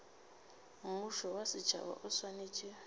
mmušo wa setšhaba o swanetše